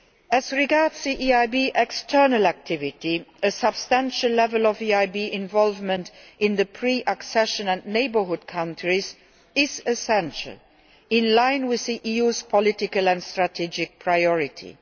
As regards EIB external activity, a substantial level of EIB involvement in the pre accession and neighbourhood countries is essential, in line with the EU's political and strategic priorities.